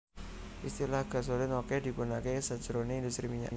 Istilah Gasolin okeh digunakaké sajroné industri minyak